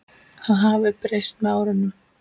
Það hafi breyst með árunum.